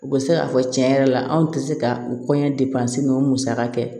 U bɛ se k'a fɔ tiɲɛ yɛrɛ la anw tɛ se ka u kɔɲɔ ninnu musaka kɛ